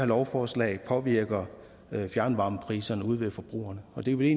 lovforslag påvirker fjernvarmepriserne ude hos forbrugerne og det ville